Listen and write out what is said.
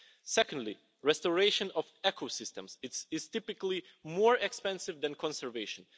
Secondly, restoration of ecosystems is typically more expensive than conservation.